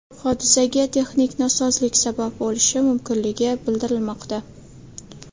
Hodisaga texnik nosozlik sabab bo‘lishi mumkinligi bildirilmoqda.